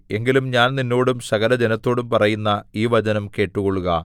എങ്കിലും ഞാൻ നിന്നോടും സകലജനത്തോടും പറയുന്ന ഈ വചനം കേട്ടുകൊള്ളുക